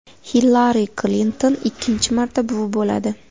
Hillari Klinton ikkinchi marta buvi bo‘ladi.